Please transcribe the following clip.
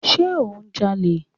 Sé ò ń ja'lè?